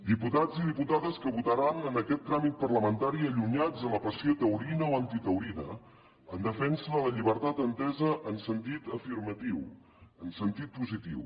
diputats i diputades que votaran en aquest tràmit parlamentari allunyats de la passió taurina o antitaurina en defensa de la llibertat entesa en sentit afirmatiu en sentit positiu